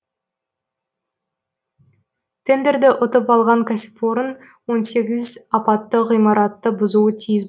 тендерді ұтып алған кәсіпорын он сегіз апатты ғимаратты бұзуы тиіс